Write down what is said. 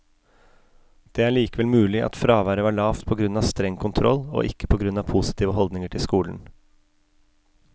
Det er likevel mulig at fraværet var lavt på grunn av streng kontroll, og ikke på grunn av positive holdninger til skolen.